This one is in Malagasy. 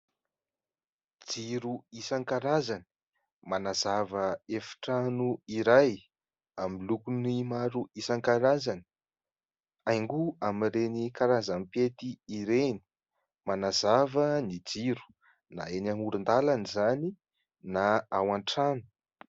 Jiro isankarazany manazava efitrano iray amin'ny lokony maro isaknarazany. Haingo amin'ireny karazam-pety ireny. Manazava ny jiro na eny amorondalana izany na ao antrano.